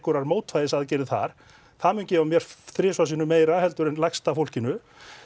mótvægisaðgerðir þar það mun gefa mér þrisvar sinnum meira en lægsta fólkinu